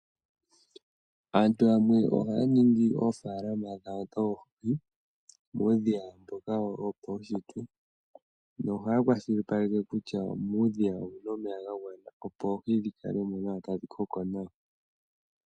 Aantu yamwe ohaya ningi oofalama dhawo dhoohi muudhiya mboka wopawushitwe nohaya kwashilipaleke kutya muudhiya omu na omeya ga gwana opo oohi dhi kale mo nawa tadhi koko nawa.